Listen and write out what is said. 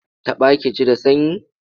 Taɓa ki ji da sanyi?